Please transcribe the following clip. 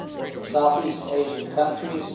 southeast asian countries